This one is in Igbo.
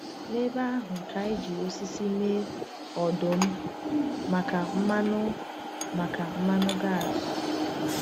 N’ebe ahụ ka anyị ji osisi mee ọdụ̀m maka mmanụ maka mmanụ gas.